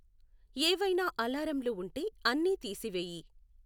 ఏవైనా అలారంలు ఉంటే అన్నీ తీసివేయి